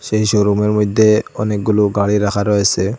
যেই শোরুমের মধ্যে অনেকগুলো গাড়ি রাখা রয়েছে।